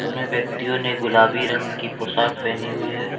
मे व्यक्तियों ने गुलाबी रंग की पोशाक पहनी हुई है।